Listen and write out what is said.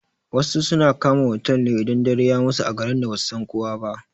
Wasu suna kama otal idan dare ya musu a garin da basu san kowa ba.